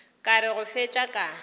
ka re go fetša ka